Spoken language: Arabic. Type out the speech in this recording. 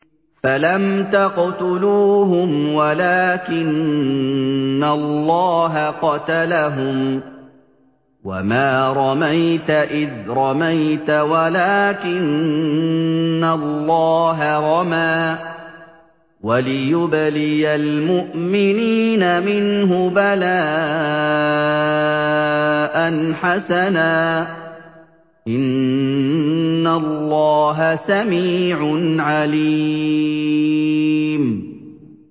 فَلَمْ تَقْتُلُوهُمْ وَلَٰكِنَّ اللَّهَ قَتَلَهُمْ ۚ وَمَا رَمَيْتَ إِذْ رَمَيْتَ وَلَٰكِنَّ اللَّهَ رَمَىٰ ۚ وَلِيُبْلِيَ الْمُؤْمِنِينَ مِنْهُ بَلَاءً حَسَنًا ۚ إِنَّ اللَّهَ سَمِيعٌ عَلِيمٌ